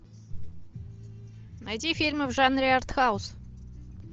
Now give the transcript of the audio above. найти фильмы в жанре артхаус